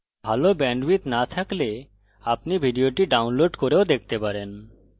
যদি ভাল bandwidth না থাকে তাহলে আপনি ভিডিওটি download করে দেখতে পারেন